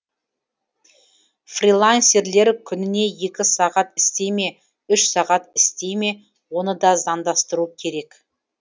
фрилансерлер күніне екі сағат істей ме үш сағат істей ме оны да заңдастыру керек